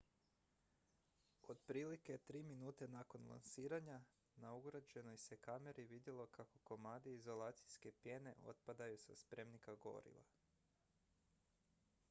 otprilike 3 minute nakon lansiranja na ugrađenoj se kameri vidjelo kako komadi izolacijske pjene otpadaju sa spremnika goriva